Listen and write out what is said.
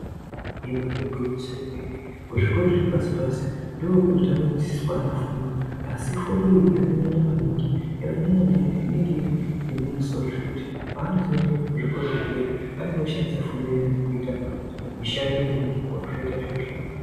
Ibari gwinyiso yemene. Kuzvikora zvepasi-pasi ndokunotanga kudzidzidziswa ana fundo asi fundo iyi yakanyanya maningi yakanyanyanyanya inenge iri yemumusoro zvekuti panozoende kuzvikora zvedera anenge oshandisa fundo iyani kuita mishando yemaoko zvoita zviro zvakanaka.